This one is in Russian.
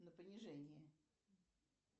на понижение